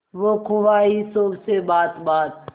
हो ख्वाहिशों से बात बात